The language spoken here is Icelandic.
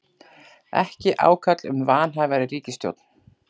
Ekki ákall um vanhæfari ríkisstjórn